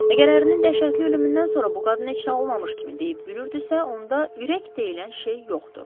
Əgər ərinin dəhşətli ölümündən sonra bu qadın heç nə olmamış kimi deyib gülürdüsə, onda ürək deyilən şey yoxdur.